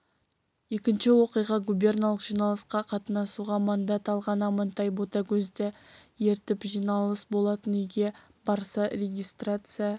екінші оқиға губерналық жиналысқа қатынасуға мандат алған амантай ботагөзді ертіп жиналыс болатын үйге барса регистрация